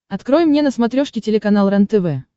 открой мне на смотрешке телеканал рентв